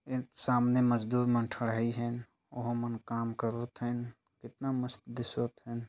एक सामने मजदूर मन ठड़हाई हे अऊ ओमन काम करो थेन कितना मस्त दिसोत हे।